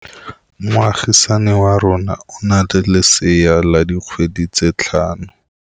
Moagisane wa rona o na le lesea la dikgwedi tse tlhano.